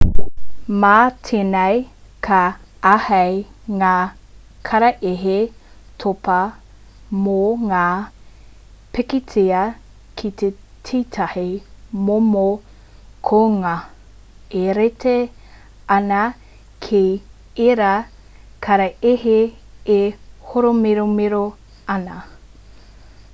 mā tēnei ka āhei ngā karaehe topa mō ngā pikitia ki tētahi momo kounga e rite ana ki ērā karaehe e hōmiromiro ana